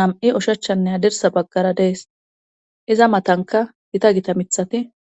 nam7i ushachchanne hadirsa baggara dees iza matanka gita gita mithati